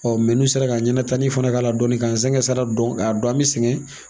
n'u sera k'an ɲɛnɛ tani fana k'a la dɔɔni k'an sɛgɛn sara dɔn k'a dɔn an bɛ sɛgɛn.